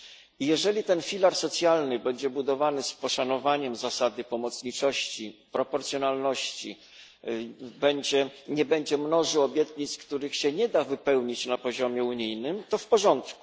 I jeżeli ten filar socjalny będzie budowany z poszanowaniem zasady pomocniczości i proporcjonalności, nie będzie mnożył obietnic, których się nie da wypełnić na poziomie unijnym, to w porządku.